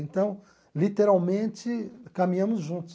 Então, literalmente, caminhamos juntos.